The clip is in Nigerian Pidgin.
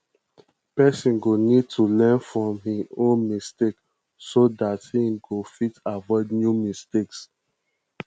person go need to learn from im own mistakes so dat im go fit avoid new mistakes